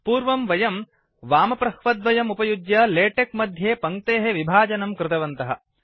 पूर्वं वयम् वामप्रह्वद्वयम् उपयुज्य लेटेक्स मध्ये पङ्क्तेः विभजनं कृतवन्तः